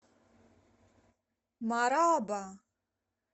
мараба